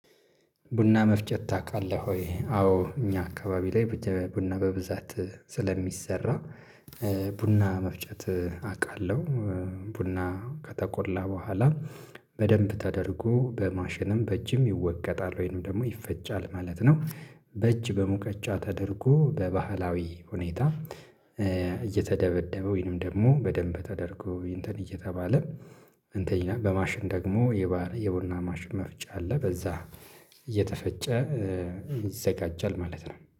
ቡና መፍጨት ታውቃለህ ወይ? አዎ እኛ አካባቢ ላይ ቡና በብዛት ስለሚሰራ ቡና መፍጨት አውቃለሁ ቡና ከተቆላ በኋላ በደንብ ተደርጎ በማሽንም በእጅም ይወቀጣል ወይንም ደግሞ ይፈጫል ማለት ነው። በእጅ በሙቀጫ ተደርጎ በባህላዊ ሁኔታ እየተደበደበ ወይንም ደግሞ በደንብ ተደርጎ እንትን እየተባለ እንትን በማሽን ደግሞ የባህር የቡና ማሽን መፍጫ አለ በዛ እየተፈጨ ይዘጋጃል። ማለት ነው